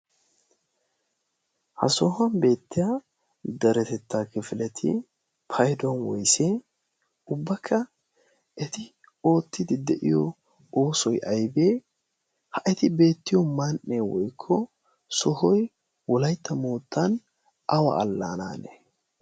ha soohuwan beettiya daretettaa kifilati payduwan woysee ubbakka eti oottidi de'iyo oosoy aybee ha eti beettiyo man"ee woykko sohoy wolaytta moottan awa allaanaane